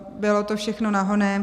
Bylo to všechno nahonem.